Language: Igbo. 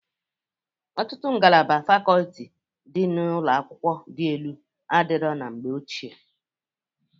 Ọtụtụ ngalaba fakoti dị na ụlọakwụ dị enu adịrọ na mgbe ochie.